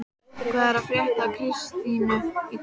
Hvað er að frétta af Kristínu í dag? spurði hann.